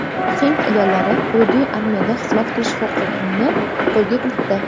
Hind ayollari Hududiy armiyada xizmat qilish huquqini qo‘lga kiritdi.